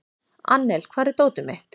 Annel, hvar er dótið mitt?